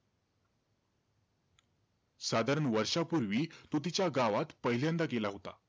साधारण वर्षापूर्वी, तो तिच्या गावात पहिल्यांदा गेला होता.